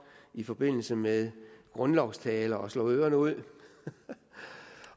i forbindelse med grundlovstaler at slå ørerne ud